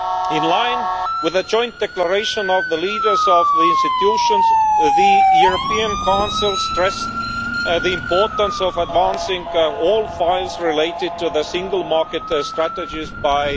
In line with the joint declaration of the leaders of the institutions, the European Council stressed the importance of advancing all files related to the single market strategies by